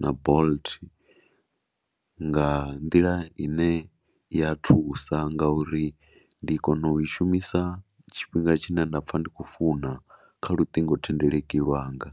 na Bolt nga nḓila i ne ya thusa ngauri ndi kona u i shumisa tshifhinga tshine nda pfha ndi khou funa kha luṱingothendeleki lwanga.